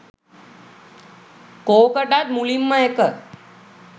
කෝකටත් මුලින්ම එක